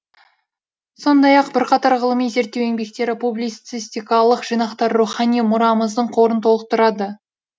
сондай ақ бірқатар ғылыми зерттеу еңбектері публицистикалық жинақтары рухани мұрамыздың қорын толықтырады